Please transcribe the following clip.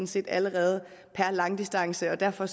set allerede per langdistance og derfor